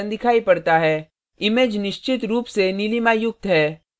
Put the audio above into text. image निश्चित रूप से नीलिमायुक्त है